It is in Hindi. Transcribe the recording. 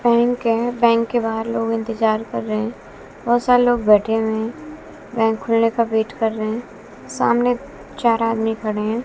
बैंक है बैंक के बाहर लोग इंतज़ार कर रहे हैं बहुत सारे लोग बैठे हुए हैं बैंक खुलने का वेट कर रहे हैं सामने चार आदमी खड़े हैं।